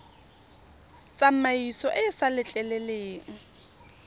tsamaiso e e sa letleleleng